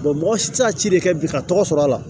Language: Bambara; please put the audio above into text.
mɔgɔ si tɛ se ka ci de kɛ bi ka tɔgɔ sɔr'a la